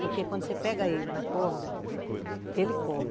Porque quando você pega ele na corda, ele corre.